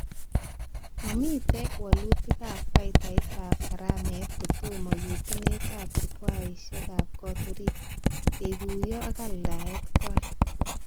Mamite walutikab faitaitab karamet kotomo yetunetab jukwaishekab kot orit, kekuyo ak aldaet kwai